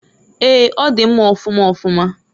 Eeǃ Ọ di mma ọfụma ọfụma.